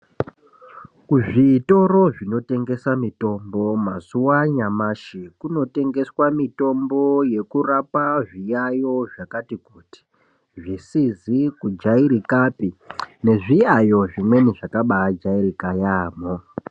Kuzvitoro zvinotengeswa mitombo mazuva anayamashi kunotengeswa mutombo yekurapa zviyayiyo zvakati kuti zvisizi kujairika pii nezviyayiyo zvimwe zvakajairika yaambo.